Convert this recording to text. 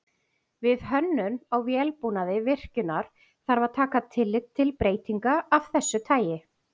Við hönnun á vélbúnaði virkjunar þarf að taka tillit til breytinga af þessu tagi.